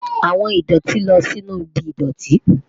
Awọn idoti lọ sinu ibi idọti